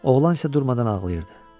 Oğlan isə durmadan ağlayırdı,